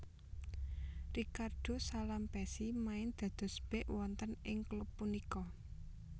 Ricardo Salampessy main dados bek wonten ing klub punika